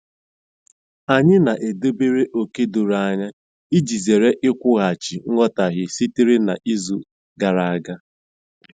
Anyị na-edobere ókè doro anya iji zere ikwughachi nghọtahie sitere na izu gara aga.